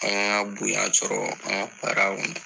An y'a bonya sɔrɔ an ka baara kɔnɔ